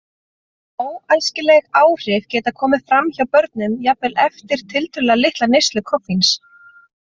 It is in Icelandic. Óæskileg áhrif geta komið fram hjá börnum jafnvel eftir tiltölulega litla neyslu koffíns.